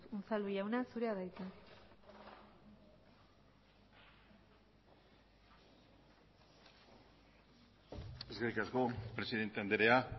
unzalu jauna zurea da hitza eskerrik asko presidente andrea